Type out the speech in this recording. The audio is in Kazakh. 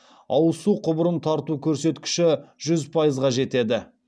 ауыз су құбырын тарту көрсеткіші жүз пайызға жетеді